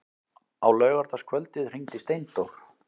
Á laugardagskvöldið hringdi Steindór.